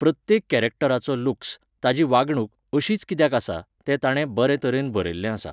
प्रत्येक कॅरॅक्टराचो लुक्स, ताची वागणूक अशीच कित्याक आसा, तें ताणें बरे तरेन बरयल्लें आसा.